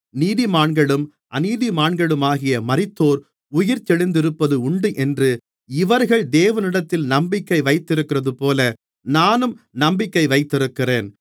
நீதிமான்களும் அநீதிமான்களுமாகிய மரித்தோர் உயிர்த்தெழுந்திருப்பது உண்டென்று இவர்கள் தேவனிடத்தில் நம்பிக்கை வைத்திருக்கிறதுபோல நானும் நம்பிக்கை வைத்திருக்கிறேன்